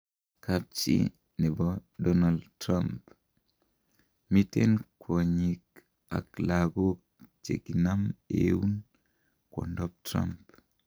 Kapchi nebo Donald Trump:Miten kwonyiik ak lakook chekinam eun kwondap Trump